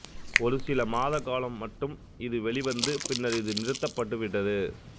ஒரு சில மாதகாலம் மட்டுமே இது வெளிவந்து பின்னர் இது நிறுத்தப்பட்டுவிட்டது